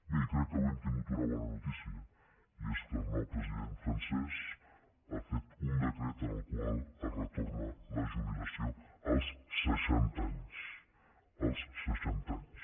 bé i crec que avui hem tingut una bona notícia i és que el nou president francès ha fet un decret amb el qual es retorna la jubilació als seixanta anys als seixanta anys